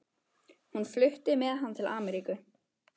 Hún flutti með hann til Ameríku.